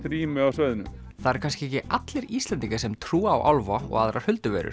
rými á svæðinu það eru kannski ekki allir Íslendingar sem trúa á álfa og aðrar